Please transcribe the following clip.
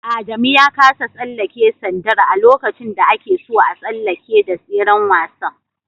Adamu ya kasa tsallake sandar a lokaci da akeso a tsalleke da tseren wasan